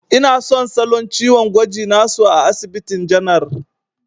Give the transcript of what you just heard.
Ina son salo ciwon gwajin na su a asibitin janar.